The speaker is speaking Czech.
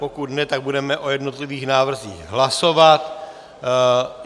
Pokud ne, tak budeme o jednotlivých návrzích hlasovat.